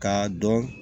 K'a dɔn